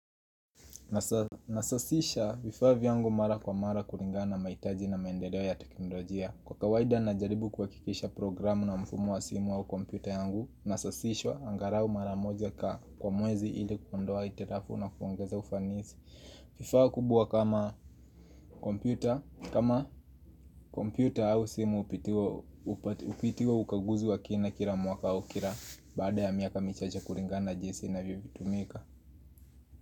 Na sasisha vifaa vyangu mara kwa mara kulingana mahitaji na maendeleo ya teknolojia Kwa kawaida najaribu kuhakikisha programu na mfumo wa simu au kompyuta yangu na sasishwa angalau mara moja kwa mwezi ili kuondoa hitilafu na kuongeza ufanisi vifaa kubwa kama kompyuta au simu Hupitiwa ukaguzi wa kina kila mwaka au kila baada ya miaka michache kulingana jinsi inavyotumika.